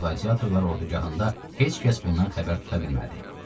Lakin qladiatorlar ordugahında heç kəs bundan xəbər tuta bilmədi.